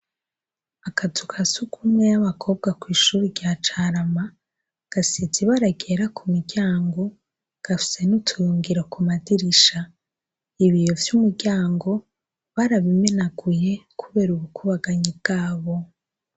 Akazu ka sugumwe y'abakobwa kw'ishure rya Carama gasize ibara ryera ku muryango, gafise n'utuyungiro ku madirisha. Ibiyo vy'umuryango barabimenaguye kubera ubukubaganyi bwabo.